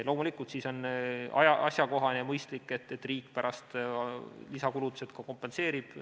Loomulikult, siis on asjakohane ja mõistlik, et riik pärast lisakulutused ka kompenseerib.